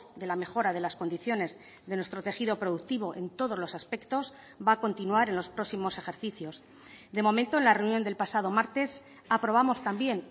de la mejora de las condiciones de nuestro tejido productivo en todos los aspectos va a continuar en los próximos ejercicios de momento en la reunión del pasado martes aprobamos también